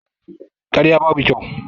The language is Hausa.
Karya babu kyau